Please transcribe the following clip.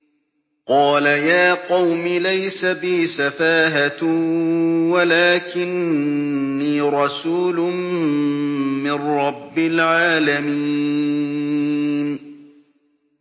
قَالَ يَا قَوْمِ لَيْسَ بِي سَفَاهَةٌ وَلَٰكِنِّي رَسُولٌ مِّن رَّبِّ الْعَالَمِينَ